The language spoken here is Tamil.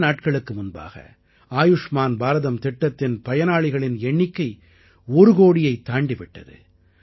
சில நாட்களுக்கு முன்பாக ஆயுஷ்மான் பாரதம் திட்டத்தின் பயனாளிகளிகளின் எண்ணிக்கை ஒரு கோடியைத் தாண்டி விட்டது